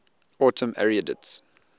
autumn arietids